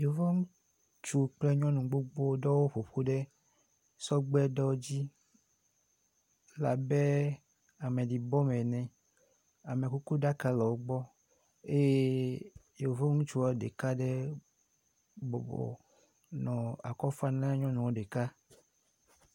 Yevu ŋutsuwo kple nyɔnuwo gbogbo ɖe wo ƒoƒu ɖe sɔgbeɖewo dzi. Ele abe ameɖibɔme ene. Amekukuɖaka le wogbɔ eye yevu ŋutsua ɖeka ɖe bɔbɔnɔ akɔfam na nyɔnua ɖeka.